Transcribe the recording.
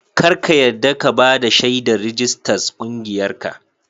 Kar ka yadda ka ba da shaidar rijistas ƙungiyarka.